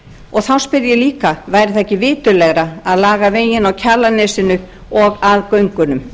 og þá spyr ég líka væri það ekki viturlegra að laga veginn á kjalarnesinu og að göngunum